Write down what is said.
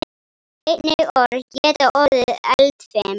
Einnig orð geta orðið eldfim.